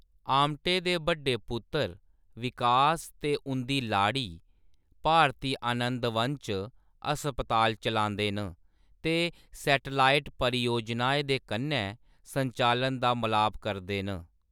आमटे दे बड्डे पुत्तर, विकास ते उंʼदी लाड़ी, भारती आनंदवन च हस्पताल चलांदे न ते सैटलाइट परियोजनाएं दे कन्नै संचालन दा मलाप करदे न।